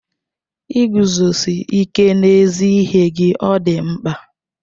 Iguzosi ike n'ezi ihe gị ọ dị mkpa?